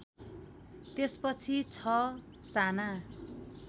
त्यसपछि ६ साना